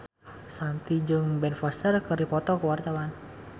Shanti jeung Ben Foster keur dipoto ku wartawan